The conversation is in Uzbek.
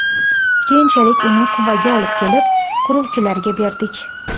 Keyinchalik uni Quvaga olib kelib quruvchilarga berdik.